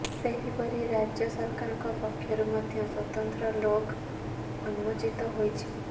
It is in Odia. ସେହିପରି ରାଜ୍ୟ ସରକାରଙ୍କ ପକ୍ଷରୁ ମଧ୍ୟ ସ୍ୱତନ୍ତ୍ର ଲୋଗ ଉନ୍ମୋଚିତ ହୋଇଛି